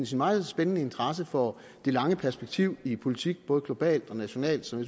sin meget spændende interesse for det lange perspektiv i politik både globalt og nationalt som